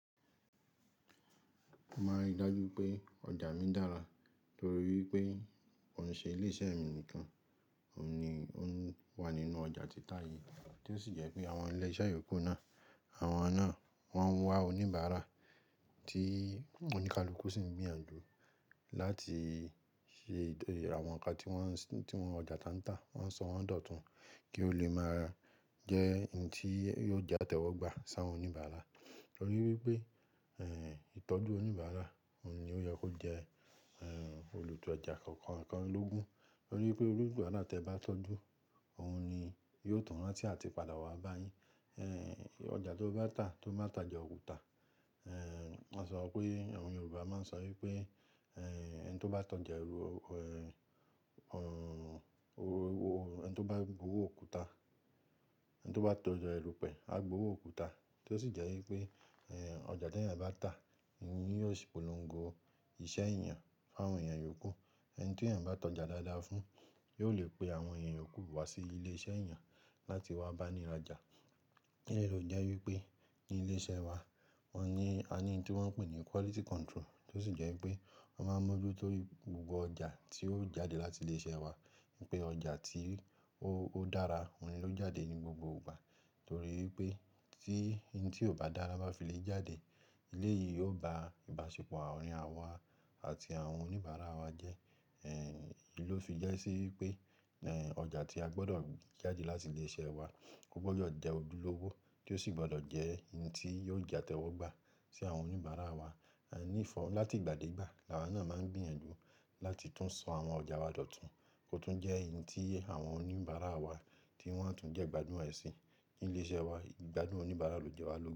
Mo máa n rí i dájú wipé ọjà mi dára torí wipé koun ṣe ilé iṣẹ́ mi nìkan, òhun ni ó wà nínú ọjà títa yìí tí ó sì jẹ́ pé àwọn ilé iṣẹ́ yòókù náà, àwọn náà wọ́n ń wá oníbàárà tí ọ́ní kalukú sì ń gbìyànjú láti ṣe àwọn ǹkan tí wọ́n ọjà tan ta, wọ́n sọ wọ́n dọ̀tun kí ó lè máa jẹ́ ohun tí yóò jẹ àtẹ́wọ́gbà sàwọ́n oníbàárà. Nítorí wípé ìtọ́jú oníbàárà òun ni ó yẹ kó jẹ́ olùtó ọjà kọ̀ọ̀kan lógún. Torí pé onibaarà tí ẹ bá tọ́jú, òhun ni yóò tun rántí àti padà wá bá yín. Ọjà tó bá tà tó má tà oja òkúta. A sọ pé àwọn Yorùbá máa ń sọ wípé ẹni tó bá tọ́ja ẹrú, ẹni tó bá gbowọ́ òkúta, ẹni tó bá tọ́ja ẹrúpẹ̀, á gbowọ́ òkúta. Tó sì jẹ́ wípé ọjà ti eẹyan bá tà ni yóò ṣí polongo iṣẹ́ ènìyàn fún àwọn ènìyàn yòókù. Ẹni tí èèyàn bá tọ́ja dáadáa fún, yóò lè pe àwọn èeyàn yòókù wá sí ilé iṣẹ́ èèyàn láti wá báni rajà. Idi leyii tò fi jẹ́ wípé ní ilé iṣẹ́ wa, wọ́n ní ani ntí wọ́n ń pè ní quality control, tó sì jẹ́ wípé wọ́n máa ń mójútó gbogbo ọjà tí ó jáde láti ilé iṣẹ́ wa wípé ọjà tí ó dára òhun ló jáde ní gbogbo ìgbà. Torí wípé tí ntí ò bá dára bá fi lè jáde, eléyìí yóò ba ìbáṣepọ̀ aarin àwọn awa àti àwọn oníbàárà wa jẹ́. Ló fi ja sí wípé ọjà tí a gbọdọ̀ jáde láti ilé iṣẹ́ wa, ò gbọdọ̀ jẹ́ ojúlówó tí ó sì gbọdọ̀ jẹ́ ntí yóò jẹ àtẹ́wọ́gbà sí àwọn oníbàárà wa. Nífọ̀ láti ìgbà dé ìgbà, làwa náà máa ń gbìyànjú láti tún so àwọn ọjà wa dọ̀tun kó tún jẹ́ ntí àwọn oníbàárà wa tí wọ́n á tún jẹ́ ìgbádùn ẹ̀ sì ní ilé iṣẹ́ wa. Ìgbádùn oníbàárà ló jẹ́ ẹlẹ́wà logun.